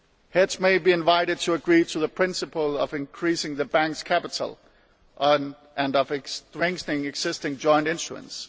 Heads may be invited to agree to the principle of increasing the banks' capital and of strengthening existing joint instruments.